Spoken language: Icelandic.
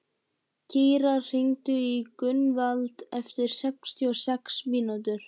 Kíra, hringdu í Gunnvald eftir sextíu og sex mínútur.